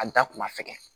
A da kun ma fɛ